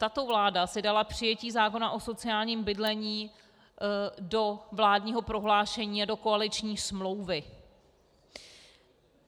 Tato vláda si dala přijetí zákona o sociálním bydlení do vládního prohlášení a do koaliční smlouvy.